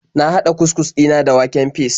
Na hada cus-cus dina da waken fis.